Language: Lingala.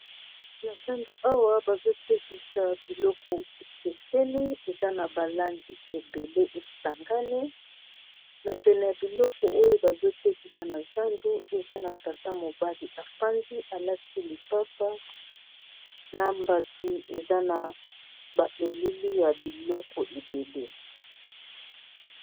na zando awa bazotekisa biloko ekeseni eza na balangi ebele esangani na pene ya biloko oyo bazotekisa na zando eza na tata mobali alati lipapa na mbati eza na baelili ya biloko ebele